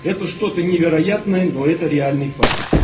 это что-то невероятное но это реальный факт